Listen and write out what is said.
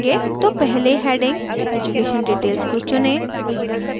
तो पहले heading education details को चुनें